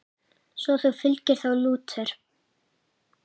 Svo þú fylgir þá Lúter?